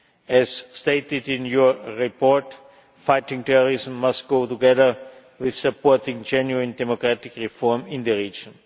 As stated in your report, fighting terrorism must go together with supporting genuine democratic reform in the region.